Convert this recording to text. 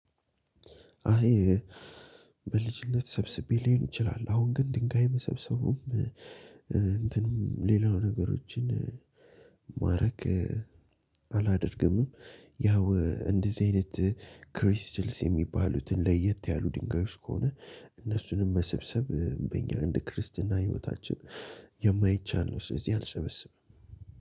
አይ በልጅነት ሰብስቤ ሊሆን ይችላል። አሁን ግን ድንጋይ መሰብሰቡም እንትንም ሌላው ነገሮችን ማድረግ አላደርግምም። ያው እንደዚህ አይነት ክሪስታልስ የሚባሉትን ለየት ያሉ ድንጋዮች ከሆነ እነሱንም መሰብሰብ በእኛ እንደ ክርስትና ህይወታችን የማይቻል ነው። ስለዚህ አልሰበሰብም።